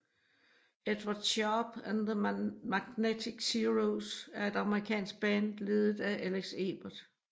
Edward Sharpe and The Magnetic Zeros er et amerikansk band ledet af Alex Ebert